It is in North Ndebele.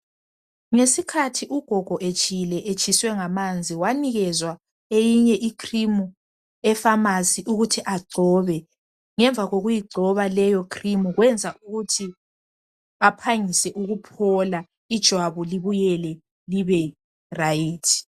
Ngesikhathi ugogo etshile etshiswe ngamanzi wanikezwa eyinye icream epharmacy ukuthi agcobe. Ngemva kokuyigcoba leyo cream kwenza ukuthi aphangise ukuphola ijwabu libuyele liberayithi.